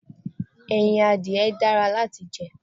Ẹyin adìye dára láti jẹ.